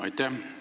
Aitäh!